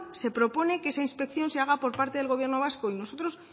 se propone que esa inspección se haga por parte del gobierno vasco y nosotros